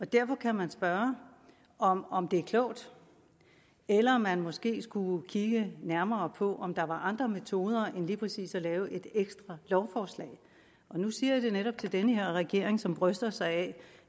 derfor kan man spørge om om det er klogt eller om man måske skulle kigge nærmere på om der var andre metoder end lige præcis at lave et ekstra lovforslag nu siger jeg det netop til den her regering som bryster sig af